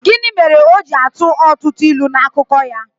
Gịnị mere o ji na-atụ ọtụtụ ilu n’akụkọ ya?